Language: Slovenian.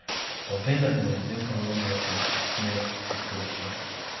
Pa vendar mu je odziv ponudil nekaj, smer, izhodišče.